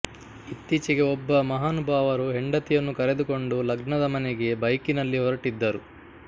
ಇತ್ತೀಚೆಗೆ ಒಬ್ಬ ಮಹಾನುಬಾವರು ಹೆಂಡತಿಯನ್ನು ಕರೆದುಕೊಂಡು ಲಗ್ನದ ಮನೆಗೆ ಬೈಕಿನಲ್ಲಿ ಹೊರಟಿದ್ದರು